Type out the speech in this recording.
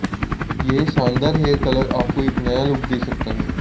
यह शानदार hair colour आपको एक नया लुक दे सकता है